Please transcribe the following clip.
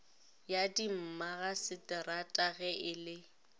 ya dimmagaseterata ge e le